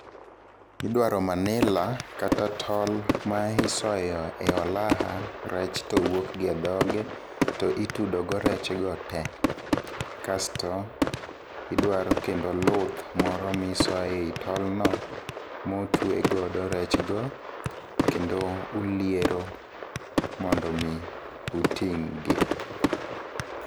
Idwaro manila kata, tol ma isoyo e olaha rech, to wuok gi e dhoggi to itudo go rech go te. Kasto idwaro kendo luth moro ,ma isoyo e tolno, motwe godo rech go, kendo uliero mondo mi uting'gi.